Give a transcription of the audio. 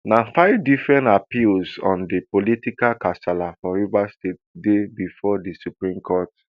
na five different appeals on di political kasala for rivers state dey bifor di supreme court